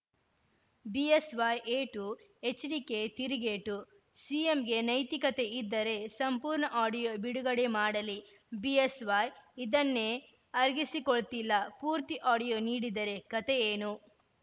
BSY ಏಟು HDK ತಿರುಗೇಟು ಸಿಎಂಗೆ ನೈತಿಕತೆ ಇದ್ದರೆ ಸಂಪೂರ್ಣ ಆಡಿಯೋ ಬಿಡುಗಡೆ ಮಾಡಲಿ ಬಿಎಸ್‌ವೈ ಇದನ್ನೇ ಅರಗಿಸಿಕೊಳ್ತಿಲ್ಲ ಪೂರ್ತಿ ಆಡಿಯೋ ನೀಡಿದರೆ ಕತೆಯೇನು